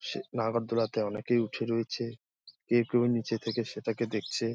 সেই নাগর দোলা তে অনেকেই উঠে রয়েছে। কেউ কেউ নিচে থেকে সেটাকে দেখছে।